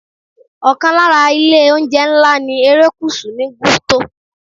Okan lara ilé - oúnjẹ ńlá ní erékùṣù ni Gusto.